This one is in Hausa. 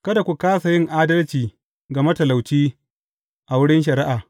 Kada ku kāsa yin adalci ga matalauci a wurin shari’a.